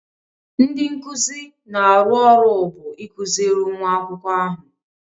Ndị nkuzi na-arụ ọrụ bụ ịkụziri nwa akwụkwọ ahụ.